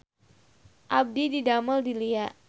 Abdi didamel di Lia